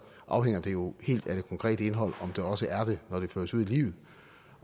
afhænger det jo helt af det konkrete indhold om det også er det når det føres ud i livet